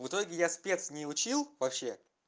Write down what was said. в итоге я спец не учил вообще